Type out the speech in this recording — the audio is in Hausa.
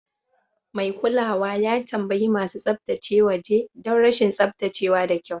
Mai kulawa ya tambayi masu tsaftace waje don rashin tsaftace wa da kyau.